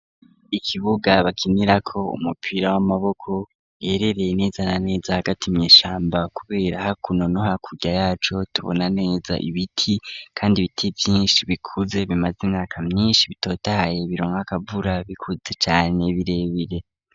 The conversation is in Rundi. Ikibuga bakinira ko umupira w'amaboko yerereye neza na neza hagati. mwishamba kubera hakuno nohakurya yacu tubona neza ibiti kandi ibiti vyinshi bikuze bimaze imyaka myinshi bitotahaye bironkakavura bikutse cane birebire.